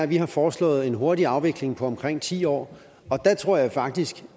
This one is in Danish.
vi har foreslået en hurtig afvikling på omkring ti år og der tror jeg faktisk